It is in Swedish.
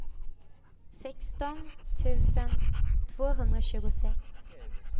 sexton tusen tvåhundratjugosex